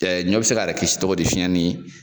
Ɛ ɲɔ be se k'a yɛrɛ kisi togo di fiɲɛ ni